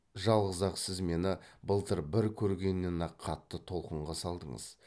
жалғыз ақ сіз мені былтыр бір көргеннен ақ қатты толқынға салдыңыз